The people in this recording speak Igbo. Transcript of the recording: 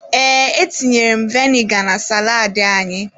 Ee, etinyere m viniga na salaadị anyị.